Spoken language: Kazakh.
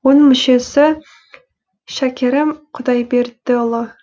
оның мүшесі шәкерім құдайбердіұлы